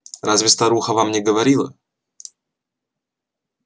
разве старуха вам не говорила